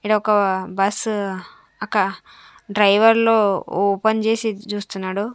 ఈడ ఒక బస్ అక్క డ్రైవరు లో ఓపెన్ చేసి చూస్తున్నాడు.